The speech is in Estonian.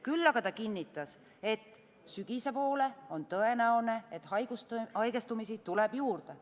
Küll aga ta kinnitas, et sügise poole on tõenäoline, et haigestumisi tuleb juurde.